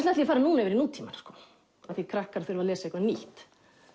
ætla ég núna yfir í nútímann sko af því krakkar þurfa að lesa eitthvað nýtt